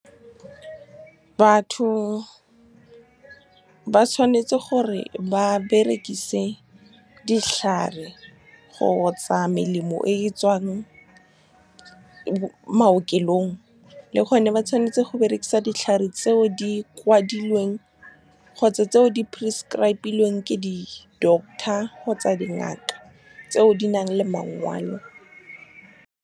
Batho ba tshwanetse gore ba berekise ditlhare kgotsa melemo e e tswang maokelong, le gone ba tshwanetse go berekisa ditlhare tseo di kwadilweng kgotsa tseo di prescribe-ilweng ke di-doctor kgotsa dingaka, tseo di nang le mangwalo. Batho ba tshwanetse gore ba berekise ditlhare kgotsa melemo e e tswang maokelong, le gone ba tshwanetse go berekisa ditlhare tseo di kwadilweng kgotsa tseo di prescribe-ilweng ke di-doctor kgotsa dingaka, tseo di nang le mangwalo.